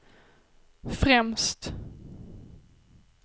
främst